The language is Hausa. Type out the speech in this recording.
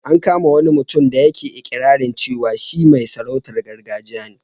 An kama wani mutum da yake iƙirarin cewa shi mai sarautar gargajiya ne.